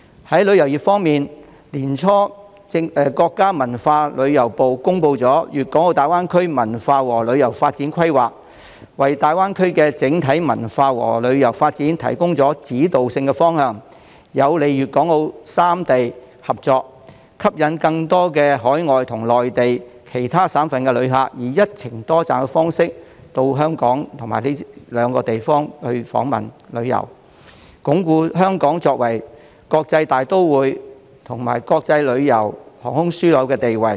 在旅遊業方面，國家文化和旅遊部在年初公布了《粤港澳大灣區文化和旅遊發展規劃》，為大灣區的整體文化和旅遊發展提供指導性方向，有利粵港澳三地合作，吸引更多海外及內地其他省市的旅客以"一程多站"的方式到港及以上兩個地方訪問和旅遊，鞏固香港作為"國際大都會"及"國際旅遊、航空樞紐"的地位。